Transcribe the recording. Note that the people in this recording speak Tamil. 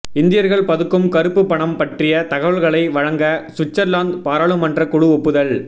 இந்தியர்கள் பதுக்கும் கருப்பு பணம் பற்றிய தகவல்களை வழங்க சுவிட்சர்லாந்து பாராளுமன்ற குழு ஒப்புதல்